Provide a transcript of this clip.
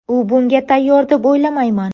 U bunga tayyor deb o‘ylamayman.